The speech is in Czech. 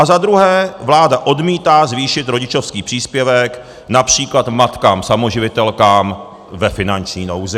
A za druhé, vláda odmítá zvýšit rodičovský příspěvek například matkám samoživitelkám ve finanční nouzi.